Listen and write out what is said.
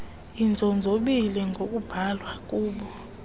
inzonzobila ngokubhalwa ngub